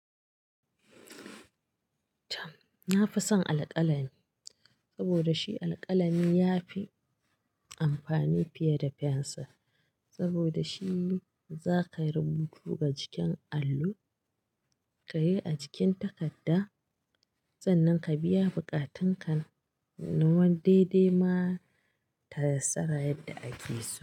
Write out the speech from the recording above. Na fi son alkalami saboda shi alkalami yafi amfani fiye da fensir saboda shi zakai rubutu ga jikin allo, ka yi a jikin takarda sannan ka biya buƙatun ka. Na wan dai-dai ma ta yassara yadda ake so.